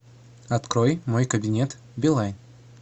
открой мой кабинет билайн